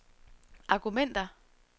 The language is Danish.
argumenter